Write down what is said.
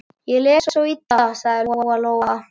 Ég les svo illa, sagði Lóa-Lóa.